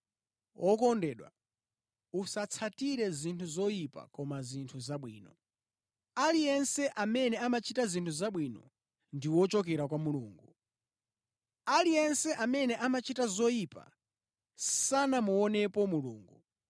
Wokondedwa, usatsatire zinthu zoyipa koma zinthu zabwino. Aliyense amene amachita zinthu zabwino ndi wochokera kwa Mulungu. Aliyense amene amachita zoyipa sanamuonepo Mulungu.